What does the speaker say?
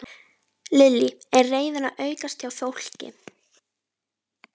Lillý: Er reiðin að aukast hjá fólki?